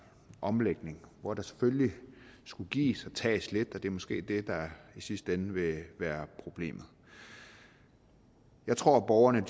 omlægning hvor der selvfølgelig skulle gives og tages lidt og det er måske det der i sidste ende vil være problemet jeg tror borgerne